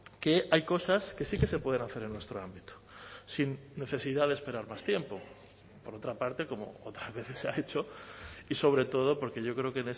que hay cosas que sí que se pueden hacer en nuestro ámbito sin necesidad de esperar más tiempo por otra parte como otras veces se ha hecho y sobre todo porque yo creo que